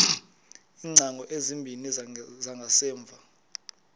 iingcango ezimbini zangasemva